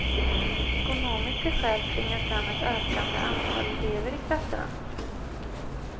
Ekonomiska skäl tvingar fram ett ökande antal elever i klasserna.